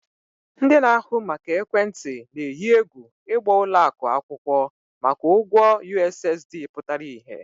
Telecoms operators are threatening to sue banks over their outstanding USSD debt